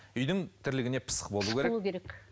үйдің тірлігіне пысық болуы керек пысық болуы керек